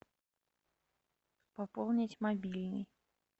пополнить мобильный